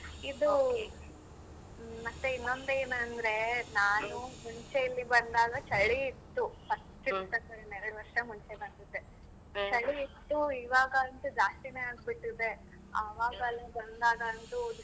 Madam ಸರಿ ಮತ್ತೆ ಇನ್ನೊಂದ ಏನ ಅಂದ್ರೆ ನಾನು ಮುಂಚೆ ಇಲ್ಲಿ ಬಂದಾಗ ಚಳಿ ಇತ್ತು ಎರಡ ವರ್ಷ ಮುಂಚೆ ಬಂದಿದ್ದೆ ಇತ್ತು ಈವಾಗ ಅಂತು ಜಾಸ್ತಿನೇ ಆಗ್ಬಿಟ್ಟಿದೆ ಅವಾಗೆಲ್ಲ ಬಂದಾಗ ಅಂತೂ ಡಿಸೆಂಬರ್.